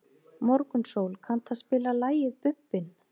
Morgunsól, kanntu að spila lagið „Bubbinn“?